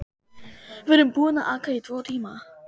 Við erum búin að aka í tvo tíma.